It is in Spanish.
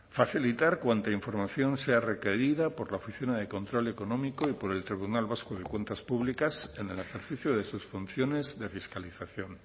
facilitar cuanta información sea requerida por la oficina de control económico y por el tribunal vasco de cuentas públicas en el ejercicio de sus funciones de fiscalización